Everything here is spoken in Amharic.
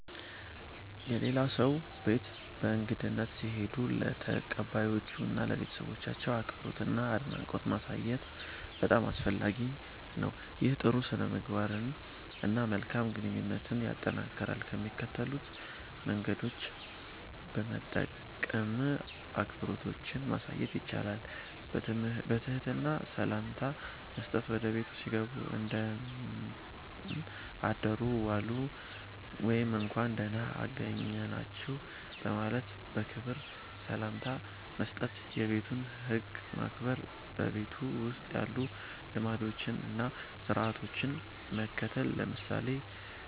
የሌላ ሰው ቤት በእንግድነት ሲሄዱ ለተቀባዮቹ እና ለቤተሰባቸው አክብሮትና አድናቆት ማሳየት በጣም አስፈላጊ ነው። ይህ ጥሩ ሥነ-ምግባርን እና መልካም ግንኙነትን ያጠናክራል። ከሚከተሉት መንገዶች በመጠቀም አክብሮትዎን ማሳየት ይችላሉ፦ በትህትና ሰላምታ መስጠት – ወደ ቤቱ ሲገቡ “እንደምን አደሩ/ዋሉ” ወይም “እንኳን ደህና አገኘናችሁ” በማለት በክብር ሰላምታ መስጠት። የቤቱን ህግ ማክበር – በቤቱ ውስጥ ያሉ ልማዶችን እና ሥርዓቶችን መከተል። ለምሳሌ